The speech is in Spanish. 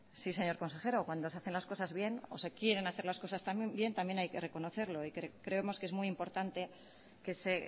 sí señor consejero cuando se hacen las cosas bien o se quieren hacer las cosas también bien también hay que reconocerlo y creemos que es muy importanteque se